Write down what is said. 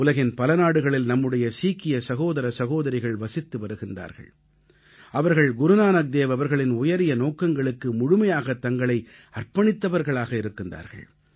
உலகின் பல நாடுகளில் நம்முடைய சீக்கிய சகோதர சகோதரிகள் வசித்து வருகிறார்கள் அவர்கள் குருநானக்தேவ் அவர்களின் உயரிய நோக்கங்களுக்கு முழுமையாகத் தங்களை அர்ப்பணித்தவர்களாக இருக்கிறார்கள்